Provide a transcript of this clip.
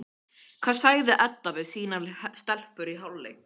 Hvað sagði Edda við sínar stelpur í hálfleik?